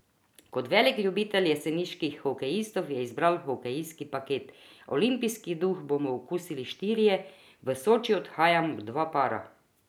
Kot velik ljubitelj jeseniških hokejistov je izbral hokejski paket: 'Olimpijski duh bomo okusili štirje, v Soči odhajamo dva para.